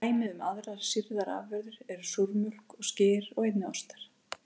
Dæmi um aðrar sýrðar afurðir eru súrmjólk og skyr og einnig ostar.